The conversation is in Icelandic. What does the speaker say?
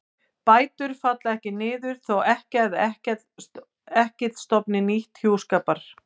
Bætur falla ekki niður þótt ekkja eða ekkill stofni til hjúskapar á ný.